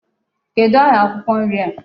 Kedụ aha akwụkwọ nri a?